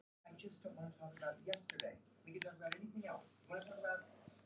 Pabbi var ekki eins sýnilegur og áður og virtist fjarlægari.